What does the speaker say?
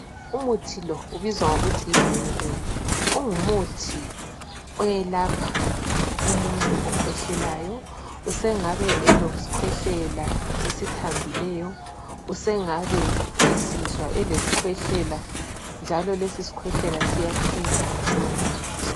Umuthi lo ubizwa ngokuthi yi Benylin ungumuthi uyelapha umuntu okwehlelayo. Usengaba elesikhwehlela esithambileyo, usengabe esizwa elesikhwehlela njalo lesi sikhwehlela siya phela ngalowo muthi.